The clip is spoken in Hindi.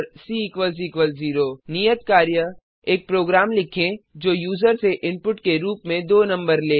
सी 0 नियत कार्य एक प्रोग्राम लिखें जो यूजर से इनपुट के रूप में दो नंबर ले